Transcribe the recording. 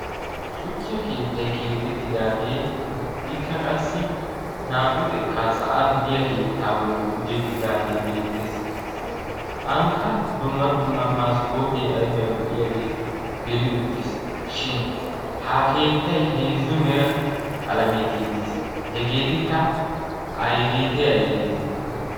Shuchcha keettay keexettidaagee ikkaa qassi naa"u xekkaa sa'an diya keettaa bolli gujettidaagee beettees. Ankka dumma dumma maskkootee ayibay lo'iyaagee geli uttis. Shin ha keettay heezzu mera qalamiyan tiyettis hegeetikka ayigeetee ayigeetee?